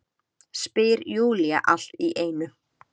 spyr Júlía allt í einu.